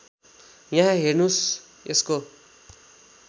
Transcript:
यहाँ हेर्नुहोस् यसको